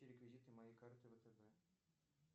реквизиты моей карты втб